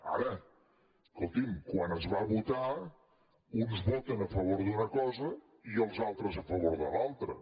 ara escolti’m quan es va a votar uns voten a favor d’una cosa i els altres a favor de l’altra